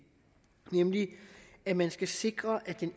nemlig at man skal sikre at den